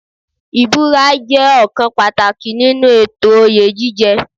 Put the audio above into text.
Ìbúra jẹ́ ọ̀kan pàtàkì nínú ètò oyè jíjẹ.